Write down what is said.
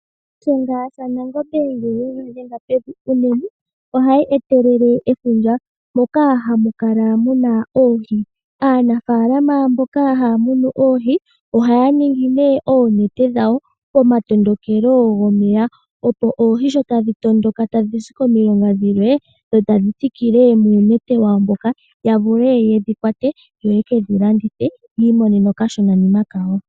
Shiyenga Shanangombe ngele yiidhenga pevi unene ohayi etelele efundja moka hamukala muna oohi, Aanafalama mboka haya munu oohi ohaya ningi nee oonete dhawo pomatondokelo gomeya opo oohi shotadhi tondoka tadhizi komilonga dhilwe dhotadhi thikile muunete wawo mboka yavule yedhikwate yo yekedhi landithe yiimonene okashonanima kawo.